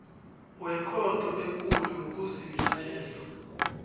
wekhotho ekulu yokuzibilayeza